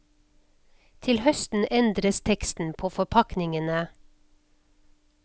Til høsten endres teksten på forpakningene.